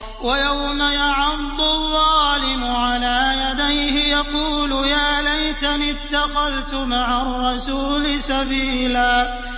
وَيَوْمَ يَعَضُّ الظَّالِمُ عَلَىٰ يَدَيْهِ يَقُولُ يَا لَيْتَنِي اتَّخَذْتُ مَعَ الرَّسُولِ سَبِيلًا